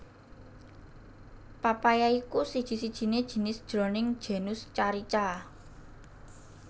papaya iku siji sijiné jinis jroning genus Carica